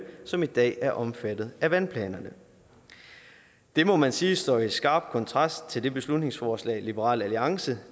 som i dag er omfattet af vandplanerne det må man sige står i skarp kontrast til det beslutningsforslag liberal alliance